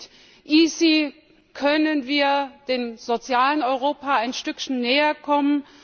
Ich denke, mit EaSI können wir dem sozialen Europa ein Stückchen näher kommen.